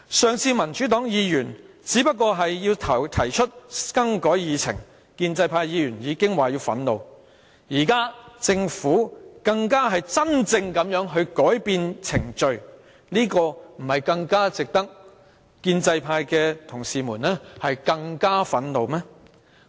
上次民主黨的議員只是想提出更改議程，建制派議員便已說感到憤怒；現在政府真正改變程序，不是更值得建制派的同事感到憤怒嗎？